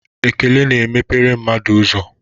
Ekele na emepere mmadụ ụzọ.